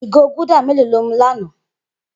Igó gúldà mèló ló mú lànã?